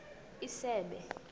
isebe